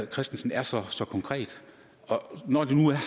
christensen er så så konkret når det nu er